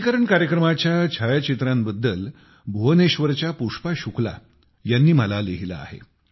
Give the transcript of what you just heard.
लसीकरण कार्यक्रमाच्या छायाचित्रांबद्दल भुवनेश्वरच्या पुष्पा शुक्ला यांनी मला लिहिले आहे